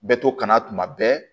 Bɛ to kana tuma bɛɛ